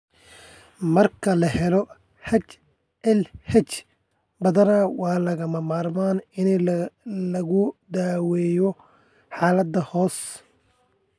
Marka la helo HLH, badanaa waa lagama maarmaan in lagu daweeyo xaaladda hoose.